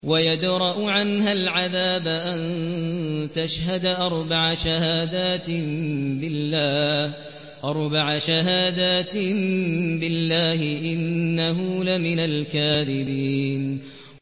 وَيَدْرَأُ عَنْهَا الْعَذَابَ أَن تَشْهَدَ أَرْبَعَ شَهَادَاتٍ بِاللَّهِ ۙ إِنَّهُ لَمِنَ الْكَاذِبِينَ